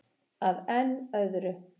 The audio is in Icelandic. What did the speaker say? Að enn öðru.